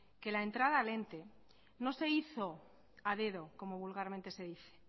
que la entrada al ente no se hizo a dedo como vulgarmente se dice